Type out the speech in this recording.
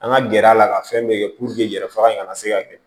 An ka gɛrɛ a la ka fɛn bɛɛ kɛ yɛrɛ faga in ka se ka kɛ